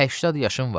80 yaşım var.